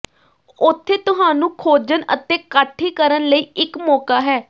ਉੱਥੇ ਤੁਹਾਨੂੰ ਖੋਜਣ ਅਤੇ ਕਾਠੀ ਕਰਨ ਲਈ ਇੱਕ ਮੌਕਾ ਹੈ